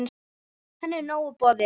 Henni er nóg boðið.